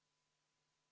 Head ametikaaslased!